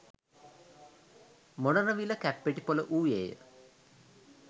මොනරවිල කැප්පෙටිපොල වූයේ